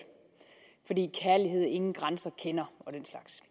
fordi kærlighed ingen grænser kender og den slags